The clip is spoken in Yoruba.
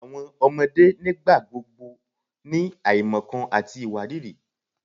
Awọn ọmọde nigbagbogbo ni aimọkan ati iwariiri